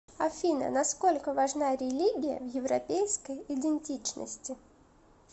афина насколько важна религия в европейской идентичности